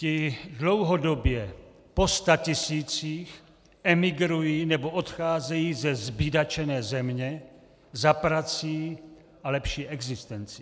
Ti dlouhodobě po statisících emigrují nebo odcházejí ze zbídačené země za prací a lepší existencí.